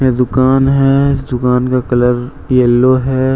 ये दुकान है। इस दुकान का कलर येलो है।